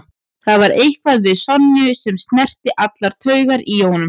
Það var eitthvað við Sonju sem snerti allar taugar í honum.